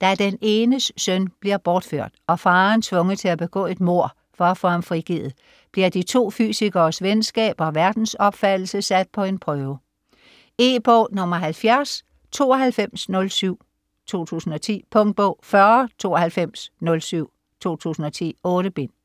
Da den enes søn bliver bortført, og faderen tvunget til at begå et mord for at få ham frigivet, bliver de to fysikeres venskab og verdensopfattelse sat på en prøve. E-bog 709207 2010. Punktbog 409207 2010. 8 bind.